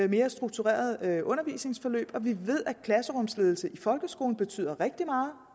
mere strukturerede undervisningsforløb og vi ved at klasserumsledelse i folkeskolen betyder rigtig